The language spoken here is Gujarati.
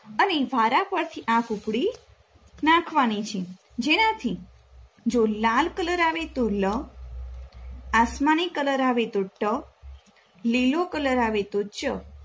અને વારાફરથી આ કૂકડી નાખવાની છે જેનાથી જો લાલ કલર આવે તો લ, આસમાની કલર આવે તો ટ, લીલો કલર આવે તો ચ